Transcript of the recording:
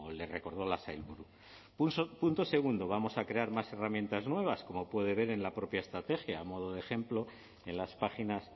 le recordó la sailburu punto segundo vamos a crear más herramientas nuevas como puede ver en la propia estrategia